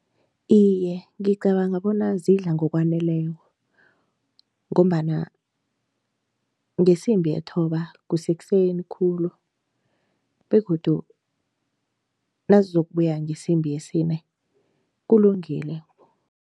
Iye, ngicabanga bona zidla ngokwaneleko ngombana ngesimbi yethoba kusekuseni khulu begodu nazizokubuya ngesimbi yesine kulungile.